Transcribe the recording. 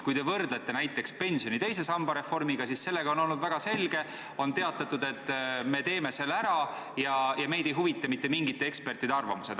Kui te võrdlete näiteks pensioni teise samba reformiga, siis sellega on kõik olnud väga selge: on teatatud, et me teeme selle ära, ja meid ei huvita mitte mingite ekspertide arvamused.